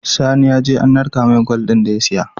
Sani yaje an narka mai gwal din da ya siya